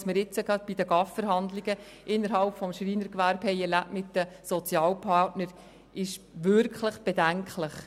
Was wir jetzt gerade bei den GAV-Verhandlungen im Schreinerbereich mit den Sozialpartnern erlebt haben, ist wirklich bedenklich.